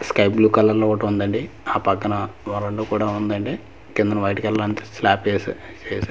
sky blue కలర్లో ఓటుందండి ఆ పక్కనా వరండా కూడా ఉందండి కిందన వైట్ కలర్ అంతా స్లాప్ ఎసా ఏసా--